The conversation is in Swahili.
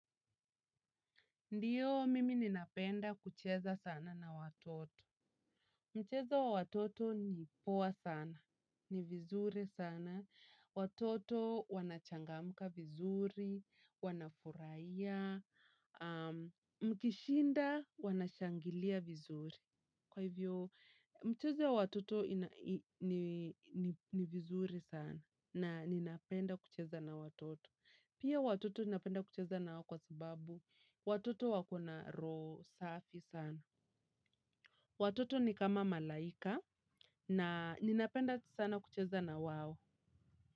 Ndiyo, mimi ninapenda kucheza sana na watoto. Mchezo wa watoto ni poa sana. Ni vizuri sana. Watoto wanachangamuka vizuri. Wanafuraia. Mkishinda wanashangilia vizuri. Kwa hivyo, mchezo wa watoto ni vizuri sana. Na ninapenda kucheza na watoto. Pia watoto ninapenda kucheza na nao kwa sababu. Watoto wako na roho safi sana. Watoto ni kama malaika na ninapenda sana kucheza na wao.